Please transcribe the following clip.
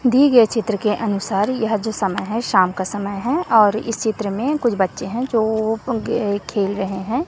दिए गए चित्र के अनुसार यह जो समय है शाम का समय है और इस चित्र में कुछ बच्चे हैं जो उनके खेल रहे हैं।